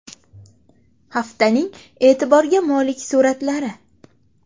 Haftaning e’tiborga molik suratlari.